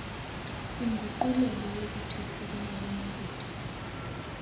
inguqulelo yokuthethwayo kumabonakude